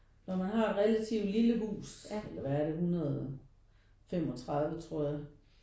Når man har et relativt lille hus hvad er det 135 tror jeg